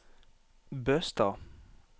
Bøstad